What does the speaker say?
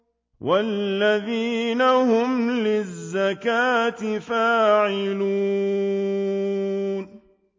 وَالَّذِينَ هُمْ لِلزَّكَاةِ فَاعِلُونَ